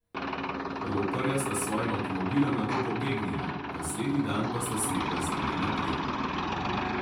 Roparja sta s svojim avtomobilom nato pobegnila, naslednji dan pa sta si razdelila plen.